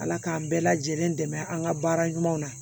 Ala k'an bɛɛ lajɛlen dɛmɛ an ka baara ɲuman na